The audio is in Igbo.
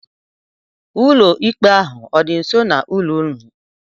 Ụlọ ikpe ahụ ọ dị nso n'ụlọ ụnụ?